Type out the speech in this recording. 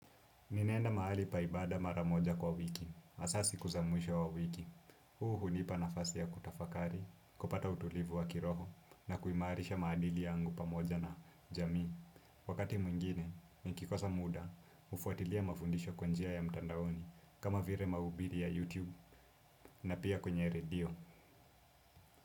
Ninaenda mahali pa ibada maramoja kwa wiki, hasaa siku za mwisho wa wiki. Huu hunipa nafasi ya kutafakari, kupata utulivu wa kiroho, na kuimarisha maadili yangu pamoja na jamii. Wakati mwingine, nikikosa muda, hufuatilia mafundisho kwa njia ya mtandaoni, kama vile maubiri ya YouTube, na pia kwenye radio.